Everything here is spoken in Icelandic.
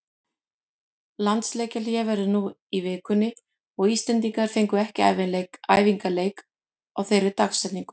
Landsleikjahlé verður nú í vikunni og Íslendingar fengu ekki æfingaleik á þeirri dagsetningu.